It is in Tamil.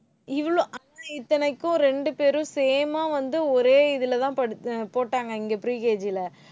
இவ்ளோ ஆனா இத்தனைக்கும் ரெண்டு பேரும் same ஆ வந்து ஒரே இதுல தான் படி~ அஹ் போட்டாங்க இங்க pre KG ல.